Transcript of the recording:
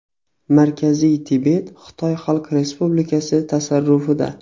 Markaziy Tibet Xitoy Xalq Respublikasi tasarrufida.